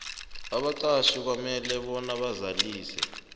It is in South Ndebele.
abaqatjhi kufanele bazalise